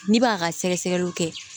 N'i b'a ka sɛgɛ sɛgɛliw kɛ